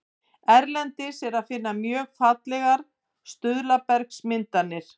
Erlendis er að finna mjög fallegar stuðlabergsmyndanir.